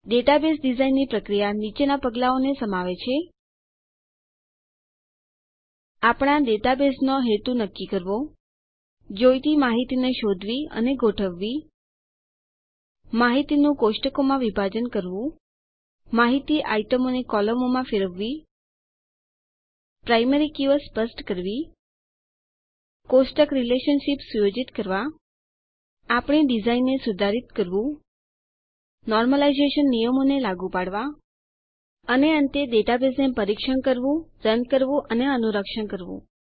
database ડીઝાઇનની પ્રક્રિયા નીચેના પગલાંઓને સમાવે છે આપણા ડેટાબેઝનો હેતુ નક્કી કરવો જોઈતી માહિતીને શોધવી અને ગોઠવવી માહિતીનું કોષ્ટકોમાં વિભાજન કરવું માહિતી આઈટમોને કોલમોમાં ફેરવવી પ્રાયમરી કીઓ સ્પષ્ટ કરવી કોષ્ટક રીલેશનશીપ સુયોજિત કરવા આપણી ડીઝાઇનને સુધારિત કરવું નોર્મલાઈઝેશન નિયમોને લાગુ પાડવા અને અંતે ડેટાબેઝને પરીક્ષણ કરવું રન કરવું અને અનુરક્ષણ કરવું